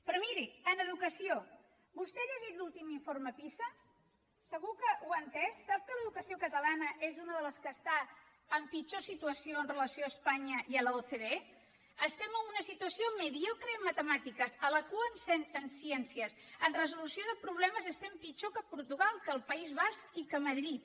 però miri en educació vostè ha llegit l’últim informe pisa segur que ho ha entès sap que l’educació catalana és una de les que està en pitjor situació amb relació a espanya i a l’ocde estem en una situació mediocre en matemàtiques a la cua en ciències en resolució de problemes estem pitjor que portugal que el país basc i que madrid